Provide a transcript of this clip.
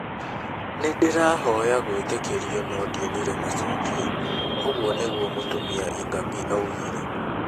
"Nĩ ndĩrahoya gwĩtĩkĩrio no ndionire macokio.'- ũguo nĩguo Mũtumia Ingabire oigire.